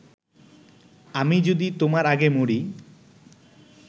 আমি যদি তোমার আগে মরি